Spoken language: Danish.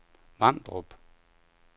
Vamdrup